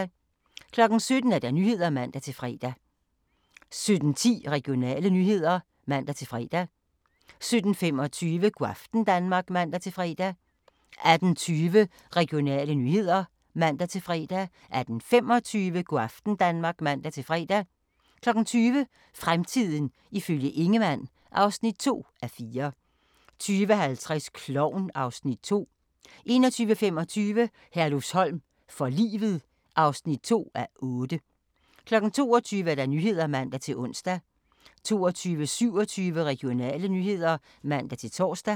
17:00: Nyhederne (man-fre) 17:16: Regionale nyheder (man-fre) 17:25: Go' aften Danmark (man-fre) 18:20: Regionale nyheder (man-fre) 18:25: Go' aften Danmark (man-fre) 20:00: Fremtiden ifølge Ingemann (2:4) 20:50: Klovn (Afs. 2) 21:25: Herlufsholm for livet (2:8) 22:00: Nyhederne (man-ons) 22:27: Regionale nyheder (man-tor)